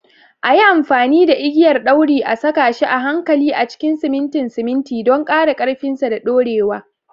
A yi amfani da igiyar ɗauri a saka shi a hankali a cikin simintin simintin don ƙara ƙarfinsa da dorewa.